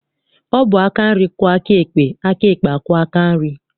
Ọ bụ aka nri kwọọ aka ekpe, aka ekpe akwọọ aka nri?